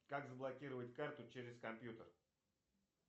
как заблокировать карту через компьютер